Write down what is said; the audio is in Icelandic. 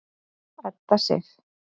Edda Sif.